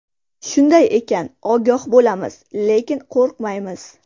Shunday ekan, ogoh bo‘lamiz, lekin qo‘rqmaymiz.